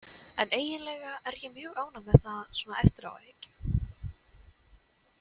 En eiginlega er ég mjög ánægð með það svona eftir á að hyggja.